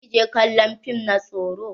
Za ki je kallon fim na tsoro?